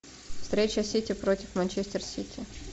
встреча сити против манчестер сити